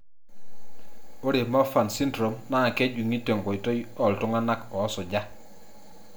Ore Marfan syndrome naa kejunguni tenkoitoi oltunganak osuja.